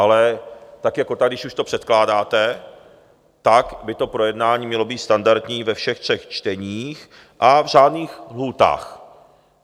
Ale tak jako tak, když už to předkládáte, tak by to projednání mělo být standardní ve všech třech čteních a v řádných lhůtách.